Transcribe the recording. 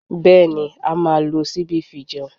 Bẹ́ẹ̀ni, a máa lo ṣíbí fi jẹun